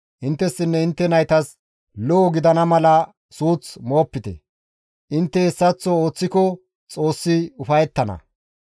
Inttessinne intte naytas lo7o gidana mala suuth moopite; intte hessaththo ooththiko Xoossi ufayettana.